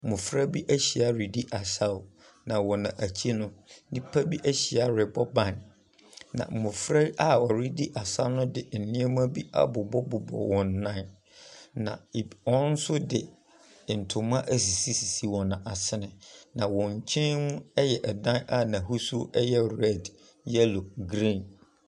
Mmɔfra bi ahyia redi asaw. Na wɔn akyi no nnipa bi ahyia rebɔ ban. Na mmɔfra a wɔredi asaw no de nneɛma bi abobɔ bobɔ wɔn nan. Na eb wɔn nso de ntoma sisisisi wɔn asene. Na wɔn nkyɛn yɛ ɛdan a n’ahosuo yɛ red, yellow, green.